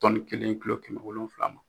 Tɔnni kelen kulo kɛmɛ wolonwula ma.